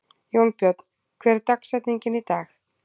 Jónbjörn, hver er dagsetningin í dag?